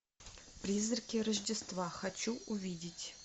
призраки рождества хочу увидеть